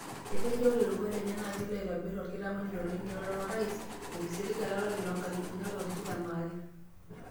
Etejo oree roruat enye naa kelo aitobir olkitamanyuni le nkiroroto orais tengisiligata olari loonkalifuni are o tikitam are.